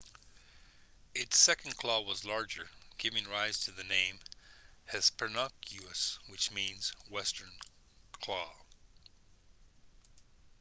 its second claw was larger giving rise to the name hesperonychus which means western claw